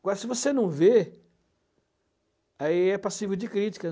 Agora, se você não vê, aí é passivo de críticas.